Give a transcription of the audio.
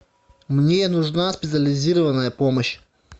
мне нужна специализированная помощь